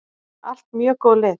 Allt mjög góð lið.